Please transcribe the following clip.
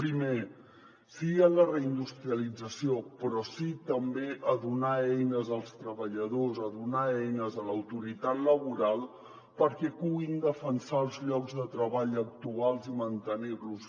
primer sí a la reindustrialització però sí també a donar eines als treballadors a donar eines a l’autoritat laboral perquè puguin defensar els llocs de treball actuals i mantenir los